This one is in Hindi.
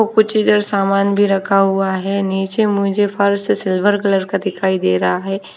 कुछ इधर सामान भी रखा हुआ है नीचे मुझे फर्श से सिल्वर कलर का दिखाई दे रहा है।